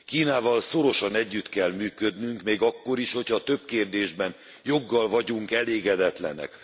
Kínával szorosan együtt kell működnünk még akkor is, hogyha több kérdésben joggal vagyunk elégedetlenek.